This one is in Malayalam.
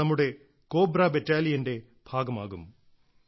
അവർ നമ്മുടെ കോബ്ര ബറ്റാലിയന്റെ ഭാഗമാകും